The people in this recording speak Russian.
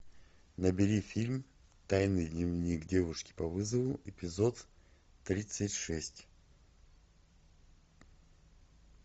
набери фильм тайный дневник девушки по вызову эпизод тридцать шесть